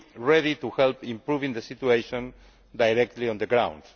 ready to help improve the situation directly on the ground.